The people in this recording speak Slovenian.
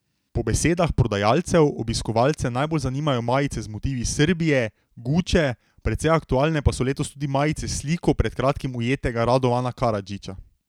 Po besedah prodajalcev, obiskovalce najbolj zanimajo majice z motivi Srbije, Guče, precej aktualne pa so letos tudi majice s sliko pred kratkim ujetega Radovana Karadžića.